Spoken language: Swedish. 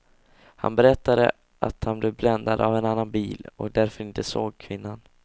Han berättade att han blev bländad av en annan bil och därför inte såg kvinnan.